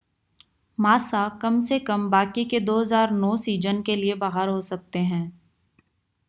Massa कम से कम बाकी के 2009 सीज़न के लिए बाहर हो सकते हैं